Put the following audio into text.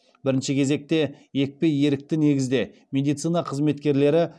бірінші кезекте екпе ерікті негізде медицина қызметкерлері